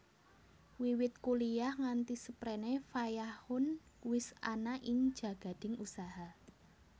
Wiwit kuliah nganti seprene Fayakhun wis ana ing jagading usaha